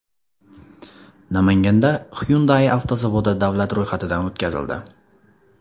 Namanganda Hyundai avtozavodi davlat ro‘yxatidan o‘tkazildi.